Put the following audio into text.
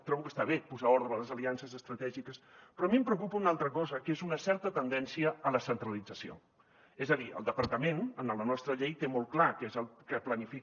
trobo que està bé posar ordre a les aliances estratègiques però a mi em preocupa una altra cosa que és una certa tendència a la centralització és a dir el departament en la nostra llei té molt clar què és el que planifica